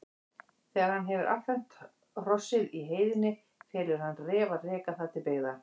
Þegar hann hefur affermt hrossið í heiðinni felur hann Ref að reka það til byggða.